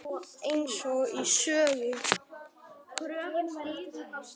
Eins og í sögu.